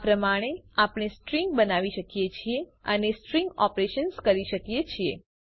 આ પ્રમાણે આપણે સ્ટ્રીંગ બનાવી શકીએ છીએ અને સ્ટ્રીંગ ઓપરેશન્સ કરી શકીએ છીએ